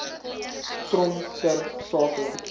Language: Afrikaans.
trom ter sake